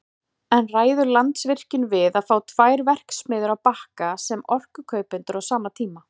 En ræður Landsvirkjun við að fá tvær verksmiðjur á Bakka sem orkukaupendur á sama tíma?